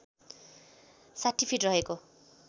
६० feet रहेको